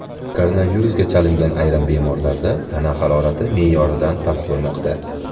Koronavirusga chalingan ayrim bemorlarda tana harorati me’yordan past bo‘lmoqda.